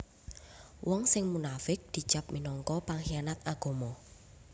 Wong sing munafiq dicap minangka penghianat agama